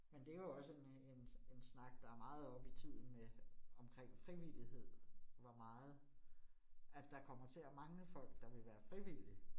Men det jo også en øh en en snak, der meget oppe i tiden med omkring frivillighed, hvor meget at der kommer til at mangle folk, der vil være frivillige